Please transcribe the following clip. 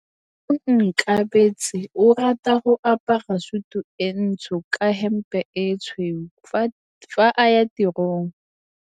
Onkabetse o rata go apara sutu e ntsho ka hempe e tshweu fa a ya tirong.